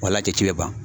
Wala tɛ tigɛ ban